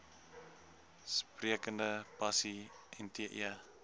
sprekende pasi nte